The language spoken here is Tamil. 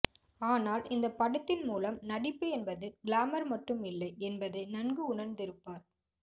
ஆனால் இந்த படத்தின் மூலம் நடிப்பு என்பது கிளாமர் மட்டும் இல்லை என்பதை நன்கு உணர்ந்திருப்பார்